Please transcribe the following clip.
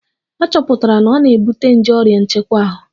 A chọpụtara na ọ na-ebute nje oria nchekwa ahu